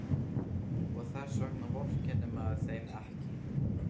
Og þess vegna vorkennir maður þeim ekki.